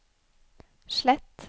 slett